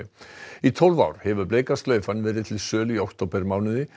í tólf ár hefur Bleika slaufan verið til sölu í októbermánuði